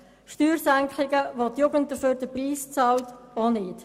Steuersenkungen, für die die Jugend den Preis zahlt, auch nicht.